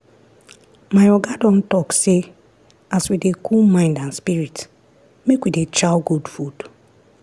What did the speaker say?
my oga don talk say as we dey cool mind and spirit make we dey chow good food.